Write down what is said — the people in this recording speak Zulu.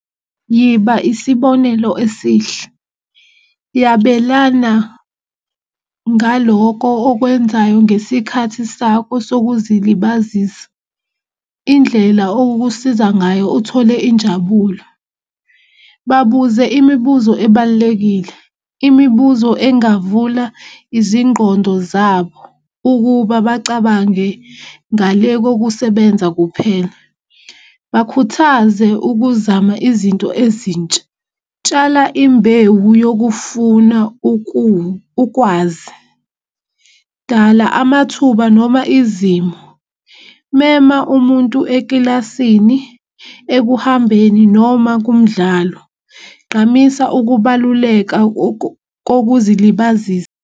Yiba isibonelo esihle. Yabelana ngaloko okwenzayo ngesikhathi sakho sokuzilibazisa. Indlela okusiza ngayo uthole injabulo. Babuze imibuzo ebalulekile, imibuzo engavula izingqondo zabo ukuba bacabange ngale kokusebenza kuphela. Bakhuthaze ukuzama izinto ezintsha. Tshala imbewu yokufuna ukukwazi, dala amathuba noma izimo, mema umuntu ekilasini ekuhambeni noma kumdlalo. Gqamisa ukubaluleka kokuzilibazisa.